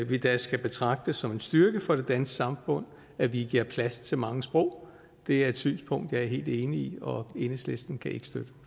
vi da skal betragte det som en styrke for det danske samfund at vi giver plads til mange sprog det er et synspunkt jeg er helt enig i og enhedslisten kan ikke